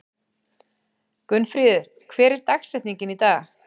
Gunnfríður, hver er dagsetningin í dag?